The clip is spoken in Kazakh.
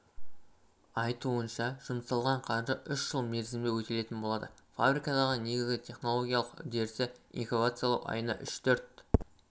айтуынша жұмсалған қаржы үш жыл мерзімде өтелетін болады фабрикадағы негізгі технологиялық үдерісі инкубациялау айына үш-төрт